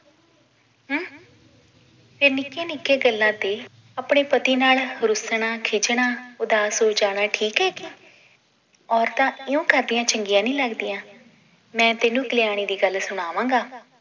ਤੇ ਨਿੱਕੀਆਂ ਨਿੱਕੀਆਂ ਗੱਲਾਂ ਤੇ ਆਪਣੇ ਪਤੀ ਨਾਲ ਰੁੱਸਣਾ ਖਿੱਝਣਾਂ ਉਦਾਸ ਹੋ ਜਾਣਾ ਇਹ ਠੀਕ ਹੈ ਔਰਤਾਂ ਇਉਂ ਕਰਦੀਆਂ ਚੰਗੀਆਂ ਨਈ ਲੱਗਦੀਆਂ ਮੈ ਤੈਨੂੰ ਕਲਿਆਣੀ ਦੀ ਗੱਲ ਸੁਣਾਵਾਂਗਾ